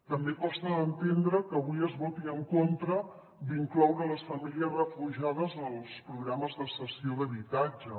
també costa d’entendre que avui es voti en contra d’incloure les famílies refugiades en els programes de cessió d’habitatge